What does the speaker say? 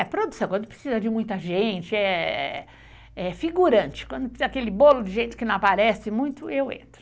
É produção, quando precisa de muita gente, é figurante, quando precisa daquele bolo de jeito que não aparece muito, eu entro.